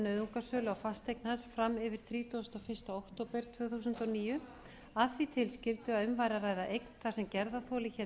nauðungarsölu á fasteign hans fram yfir þrítugasta og fyrsta október tvö þúsund og níu að því tilskildu að um væri að ræða eign þar sem gerðarþoli héldi